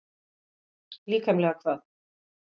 Líkamlega hvað?